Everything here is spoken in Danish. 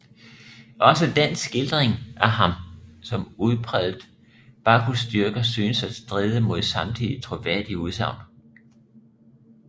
Også den skildring af ham som udpræget Bacchusdyrker synes at stride mod samtidige troværdige udsagn